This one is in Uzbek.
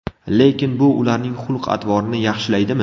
Lekin bu ularning xulq-atvorini yaxshilaydimi?